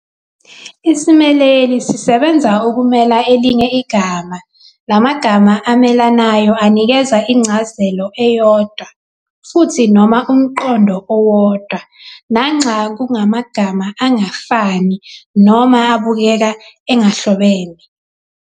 Isimeleli sisebenza ukumela elinye igama, la magama amelanayo anikeza incazelo eyodwa futhi noma umqondo owodwa nanxa kungamagama angafani noma abukeka engahlobene.